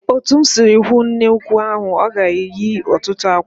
Otu m sịrị hụ nnekwu ahụ, ọ ga-eyi ọtụtụ àkwạ́.